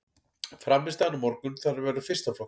Frammistaðan á morgun þarf að vera fyrsta flokks.